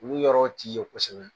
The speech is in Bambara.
Olu yɔrɔ t'i ye kosɛbɛ